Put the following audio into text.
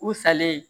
U salen